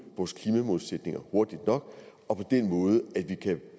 vores klimamålsætninger hurtigt nok og på den måde at vi kan